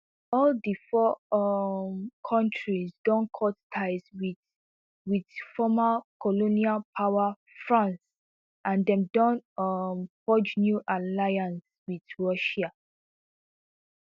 all di four um kontris don cut ties wit wit former colonial power france and dem don um forge new alliances wit russia